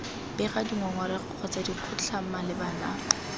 bega dingongorego kgotsa dikgotlhang malebana